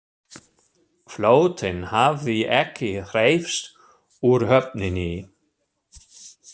Flotinn hafði ekki hreyfst úr höfninni.